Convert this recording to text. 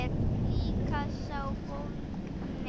Líka sá bólgni.